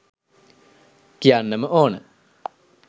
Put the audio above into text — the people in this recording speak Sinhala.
කියන්නම ඕන.